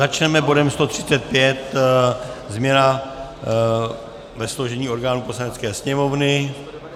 Začneme bodem 135, změna ve složení orgánů Poslanecké sněmovny.